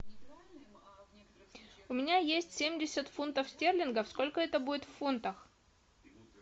у меня есть семьдесят фунтов стерлингов сколько это будет в фунтах